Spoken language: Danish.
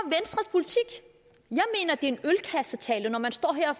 en ølkassetale når man står her